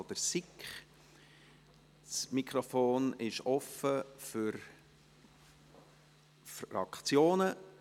der SiK. Das Mikrofon ist offen für Fraktionen.